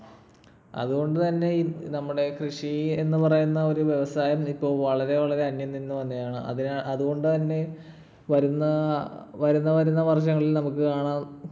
അതുകൊണ്ടുതന്നെ ഈ നമ്മുടെ കൃഷി എന്ന് പറയുന്ന ഒരു വ്യവസായം ഇപ്പൊ വളരെ വളരെ അന്യം നിന്നുവരികയാണ്. അതുകൊണ്ടുതന്നെ വരുന്ന ~ വരുന്ന വരുന്ന വർഷങ്ങളിൽ നമുക്ക് കാണാൻ